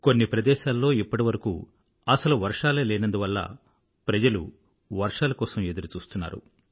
కొన్ని ప్రదేశాల్లో ఇప్పటివరకూ అసలు వర్షాలే లేనందువల్ల ప్రజలు వర్షాల కోసం ఎదురుచూస్తున్నారు